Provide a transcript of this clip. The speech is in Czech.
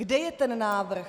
Kde je ten návrh?